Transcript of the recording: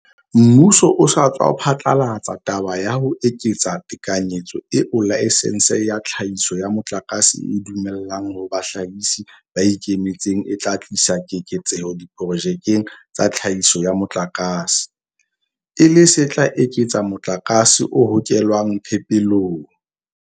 Mmuso o sa tswa phatlalatsa taba ya ho eketsa tekanyetso eo laesense ya tlhahiso ya motlakase e e dumellang ho bahlahisi ba ikemetseng e tla tlisa keketseho diprojekeng tsa tlhahiso ya motlakase, e le se tla eketsa motlakase o hokelwang phepelong.